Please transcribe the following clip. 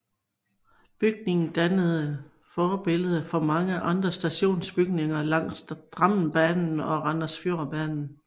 Bygningen dannede forbillede for mange andre stationsbygninger langs Drammenbanen og Randsfjordbanen